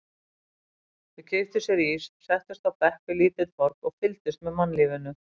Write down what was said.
Þau keyptu sér ís, settust á bekk við lítið torg og fylgdust með mannlífinu.